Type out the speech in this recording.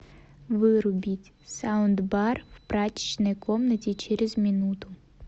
вырубить саундбар в прачечной комнате через минуту